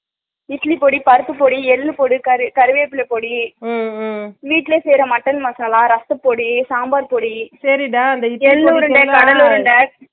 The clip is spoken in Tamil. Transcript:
இட்லி போடி பருப்பு போடி எல்லு போடி கருவேப்ள போடி உம் உம் வீட்ல செய்ற mutton மசாலா ரசப்பொடி சாம்பார் போடி